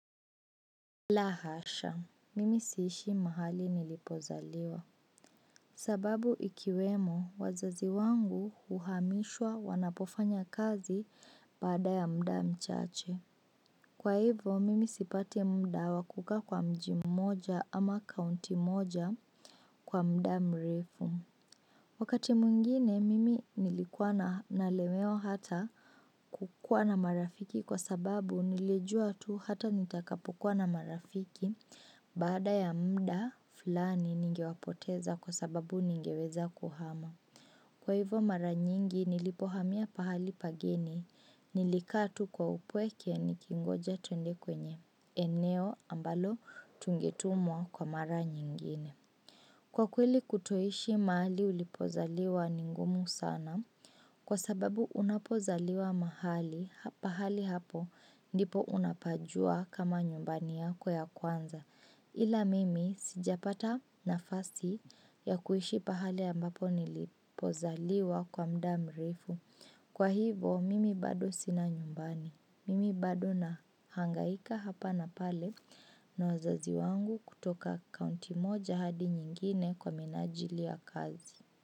La hasha, mimi siishi mahali nilipozaliwa. Sababu ikiwemo, wazazi wangu uhamishwa wanapofanya kazi bada ya muda mchache. Kwa hivo, mimi sipati muda wa kukaa kwa mji moja ama kaunti moja kwa muda mrefu. Wakati mwngine mimi nilikuwa nalemewa hata kukuwa na marafiki kwa sababu nilijua tu hata nitakapokuwa na marafiki baada ya muda fulani ningewapoteza kwa sababu ningeweza kuhama. Kwa hivo mara nyingi nilipohamia pahali pageni nilikata tu kwa upweke nikingoja twende kwenye eneo ambalo tungetumwa kwa mara nyingine. Kwa kweli kutoishi mahali ulipozaliwa ni ngumu sana. Kwa sababu unapozaliwa mahali, pahali hapo ndipo unapajua kama nyumbani yako ya kwanza. Ila mimi sijapata nafasi ya kuishi pahali ambapo nilipozaliwa kwa muda mrefu. Kwa hivo mimi bado sina nyumbani. Mimi bado nahangaika hapa na pale na wazazi wangu kutoka kaunti moja hadi nyingine kwa minajili ya kazi.